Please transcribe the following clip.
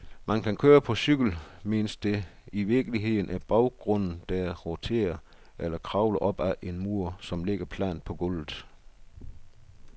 Man kan køre på cykel, mens det i virkeligheden er baggrunden, der roterer, eller kravle op ad en mur, som ligger plant på gulvet.